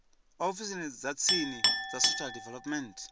ofisini dza tsini dza social development